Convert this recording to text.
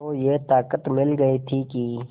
को ये ताक़त मिल गई थी कि